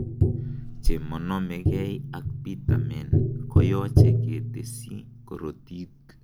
Chemonomekei ak pitamen koyoche ketesyi korotik.